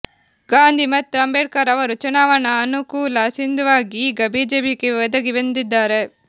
ಗಾಂಧಿ ಮತ್ತು ಅಂಬೇಡ್ಕರ್ ಅವರು ಚುನಾವಣಾ ಅನುಕೂಲಸಿಂಧುವಾಗಿ ಈಗ ಬಿಜೆಪಿಗೆ ಒದಗಿ ಬಂದಿದ್ದಾರೆ